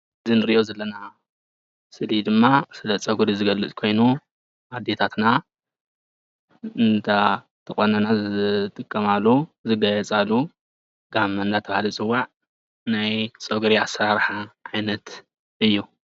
እዚ እንሪኦ ዘለና ስእሊ ድማ ስለ ፀጉሪ ዝገልፅ ኮይኑ ኣዴታትና እንዳተቆነና ዝጥቀማሉ ዘጋይፃሉ ጋመ እንዳተባሃለ ዝፅዋዕ ናይ ፀጉሪ ኣሰራርሓ ዓይነት እዩ፡፡